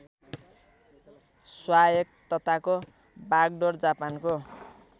स्वायत्तताको बागडोर जापानको